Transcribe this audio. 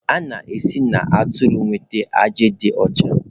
A na-esi na atụrụ enweta ajị dị ọcha.